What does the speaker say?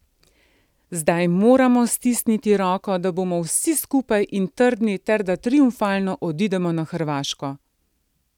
Zdaj moramo stisniti roko, da bomo vsi skupaj in trdni ter da triumfalno odidemo na Hrvaško.